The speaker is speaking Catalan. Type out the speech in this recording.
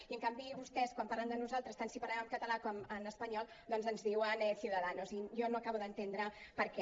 i en canvi vostès quan parlen de nosaltres tant si parlem en català com en espanyol doncs ens diuen ciudadanos i jo no acabo d’entendre per què